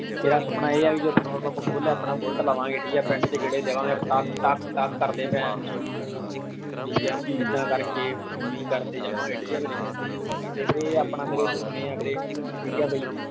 ਮੇਰਾ ਸੁਪਨਾ ਇਹ ਆ ਕਿ ਜਦੋਂ petrol pump ਖੋਲ ਲਿਆ ਆਪਣਾ bullet ਲਵਾਂਗੇ। ਠੀਕ ਆ, ਪਿੰਡ ਵਿਚ ਗੇੜੇ ਦਵਾਂਗੇ, ਪਟਾਕ ਪਟਾਕ ਕਰਦੇ ਭੇਨਚੋ ਠੀਕ ਆ। ਇੱਦਾਂ ਕਰ ਕੇ ਵੀ ਕਰਦੇ ਜਾਵਾਂਗੇ। ਠੀਕ ਆ ਵੀਰੇ, ਤੇ ਵੀਰੇ ਆਪਣਾ ਮੇਰੇ ਇਹ ਸੁਪਨੇ ਨੇ ਮੇਰੇ।